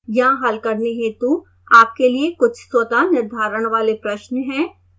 यहाँ हल करने हेतु आपके लिए कुछ स्वतः निर्धारण वाले प्रश्न हैं